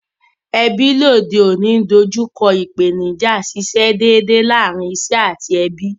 Ebí lóde ọ̀ní n dojúko ìpènijà síse dédè lárin isé àti ebí